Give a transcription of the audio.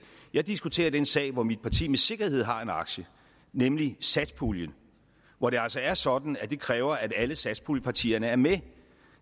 jeg diskuterer den sag som mit parti med sikkerhed har en aktie i nemlig satspuljen hvor det altså er sådan at det kræver at alle satspuljepartierne er med